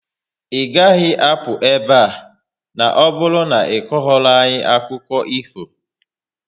Ị gaghị apụ ebe a, na ọbụrụ na iko ghọrọ anyị akụkụ ifo!